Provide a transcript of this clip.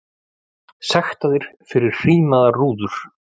Sektaðir fyrir hrímaðar rúður